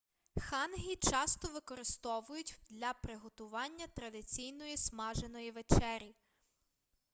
хангі часто використовують для приготування традиційної смаженої вечері